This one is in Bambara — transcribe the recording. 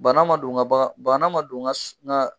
Bana ma don ŋa baga bana ma don ŋa s ŋa